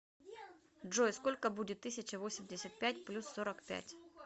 джой сколько будет тысяча восемьдесят пять плюс сорок пять